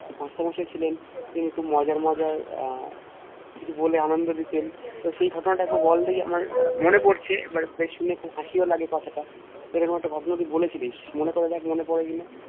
আহ Master মশাই ছিলেন তিনি খুব মজাই মজাই আহ কিছু বলে আনন্দ দিতেন তো সেই ঘটনা তা আমায় বল দেখি আমার মনে পড়ছে সেটা বেশ শুনে খুব হাসিও লাগে কথাটা এরকম একটা ঘটনা তুই বলে ছিলিস মনে করে দেখ মনে পরে কিনা